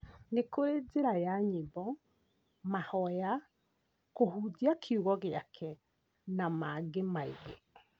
Nĩkũrĩ njĩra ya nyĩmbo, mahoya, kũhunjia kiugo gĩake na mangĩ maingĩ